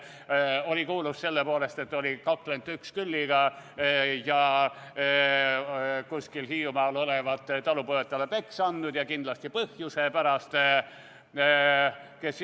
Ta oli kuulus selle poolest, et oli kakelnud Uexkülliga ja kuskil Hiiumaal olevat talupojad talle peksa andnud, ja kindlasti asja pärast.